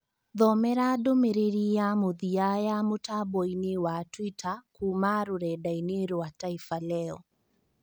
Thomera ndũmĩrĩri ya mũthia ya mũtamboinĩ wa twita kuma rũredainĩ rwa taifa leo